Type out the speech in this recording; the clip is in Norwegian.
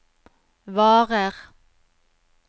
varer